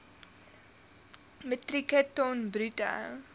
metrieke ton bruto